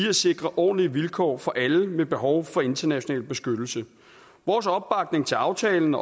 at sikre ordentlige vilkår for alle med behov for international beskyttelse vores opbakning til aftalen